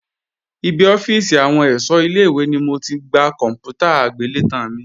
Ibi ọ́fíìsì àwọn ẹ̀ṣọ́ ilé-ìwé ni mo ti gba kòǹpútà agbélétan mi